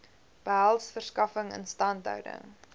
behels verskaffing instandhouding